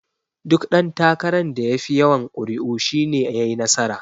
Duk ɗan takaran da yafi yawan kuri'u shi ne yayi nasara.